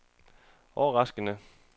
overraskende